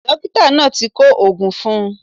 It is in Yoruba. Dókítà náà ti kọ oògùn fun un